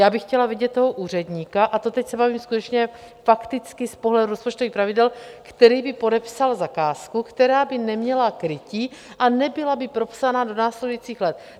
Já bych chtěla vidět toho úředníka, a to teď se bavím skutečně fakticky z pohledu rozpočtových pravidel, který by podepsal zakázku, která by neměla krytí a nebyla by propsaná do následujících let.